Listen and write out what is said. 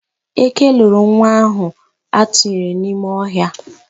Eke loro nwa ahụ atụnyere n'ime ọhịa.